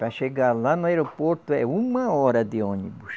Para chegar lá no aeroporto é uma hora de ônibus.